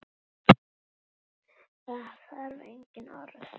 Það þarf engin orð.